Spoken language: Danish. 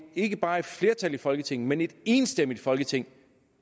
ikke bare et flertal i folketinget men et enstemmigt folketing